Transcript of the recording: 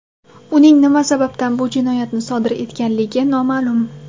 Uning nima sababdan bu jinoyatni sodir etganligi noma’lum.